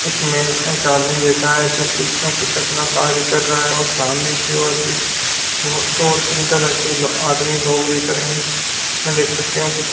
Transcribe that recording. एक मेन एक आदमी बैठा है जो कुछ न कुछ अपना कार्य कर रहा है और सामने की ओर भी और दो तीन तरह के आदमी लोग दिख रहे है इसमें देख सकते हो की--